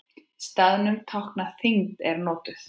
Staðnum tákn þyngd er notuð.